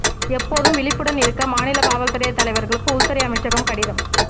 எப்போதும் விழிப்புடன் இருக்க மாநில காவல் துறை தலைவர்களுக்கு உள்துறை அமைச்சகம் கடிதம்